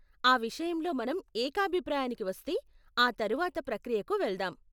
ఆ విషయంలో మనం ఏకాభిప్రాయానికి వస్తే, ఆ తరువాత ప్రక్రియకు వెళ్దాం.